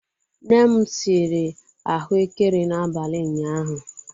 Nne m siri ahụekere n'abali ụnyahụ.